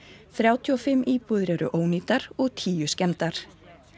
þrjátíu og fimm íbúðir eru ónýtar og tíu skemmdar